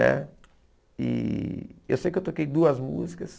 Né e eu sei que eu toquei duas músicas.